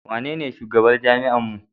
waye shugaban jami'ar mu?